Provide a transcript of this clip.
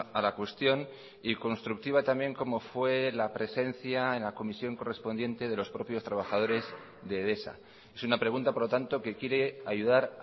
a la cuestión y constructiva también como fue la presencia en la comisión correspondiente de los propios trabajadores de edesa es una pregunta por lo tanto que quiere ayudar